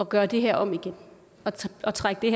gøre det her om igen at trække den